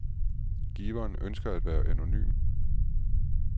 Giveren ønsker at være anonym.